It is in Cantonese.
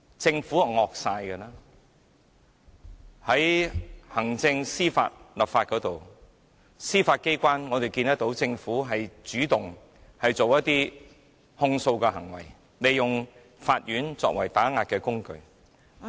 在行政、司法、立法方面，我們看到政府主動提起控訴，利用法院作為打壓工具......